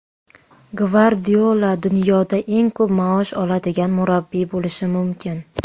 Gvardiola dunyoda eng ko‘p maosh oladigan murabbiy bo‘lishi mumkin.